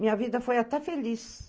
Minha vida foi até feliz.